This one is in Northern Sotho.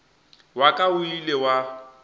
wa ka o ile wa